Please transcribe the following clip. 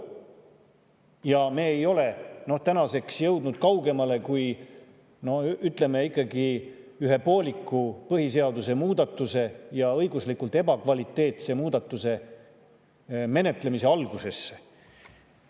Ja me ei ole tänaseks jõudnud kaugemale kui, ütleme, ikkagi ühe pooliku põhiseaduse muudatuse ja õiguslikult ebakvaliteetse muudatuse menetlemise algusesse.